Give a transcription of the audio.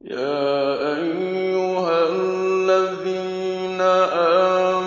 يَا أَيُّهَا الَّذِينَ